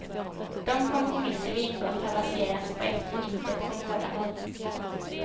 De kompromisser vi ingått har baserats på eftergifter från båda håll.